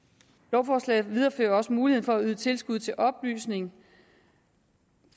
lovforslaget viderefører også muligheden for at yde tilskud til oplysning